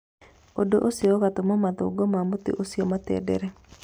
Ũndũ ũcio ũgatũma mathangũ ma mũtĩ ũcio matenderere